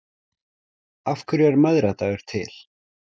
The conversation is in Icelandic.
Af hverju er mæðradagur til?